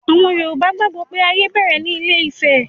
Àwọn Yorùbá gbàgbó pé ayé bẹ̀rẹ̀ ní ilé-ifẹ̀